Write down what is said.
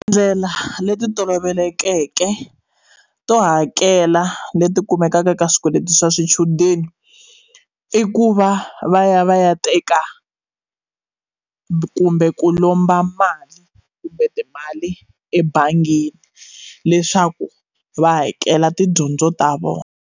Tindlela leti tolovelekeke to hakela leti kumekaka ka swikweleti swa swichudeni i ku va va ya va ya teka kumbe ku lomba mali kumbe timali ebangini leswaku va hakela tidyondzo ta vona.